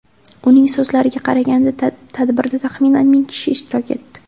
Uning so‘zlariga qaraganda, tadbirda taxminan ming kishi ishtirok etdi.